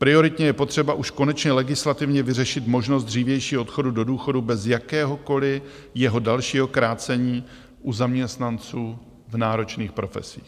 Prioritně je potřeba už konečně legislativně vyřešit možnost dřívějšího odchodu do důchodu bez jakéhokoliv jeho dalšího krácení u zaměstnanců v náročných profesích.